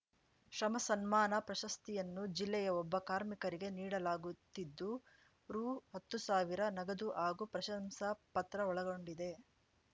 ಶ್ರಮ ಸನ್ಮಾನ ಪ್ರಶಸ್ತಿಯನ್ನು ಜಿಲ್ಲೆಯ ಒಬ್ಬ ಕಾರ್ಮಿಕರಿಗೆ ನೀಡಲಾಗುತ್ತಿದ್ದು ರುಹತ್ತು ಸಾವಿರ ನಗದು ಹಾಗೂ ಪ್ರಶಂಸಾ ಪತ್ರ ಒಳಗೊಂಡಿದೆ